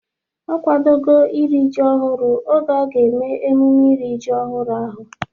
Ọ kwadogo iri ji ọhụrụ oge a ga-eme emume iri ji ọhụrụ ahụ